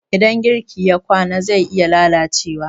idan girki ya kwana zai iya lalacewa